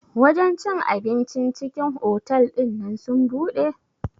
Wajen cin abincin cikin otal ɗinnan sun buɗe?